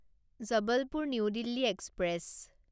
Jabalpur new Delhi express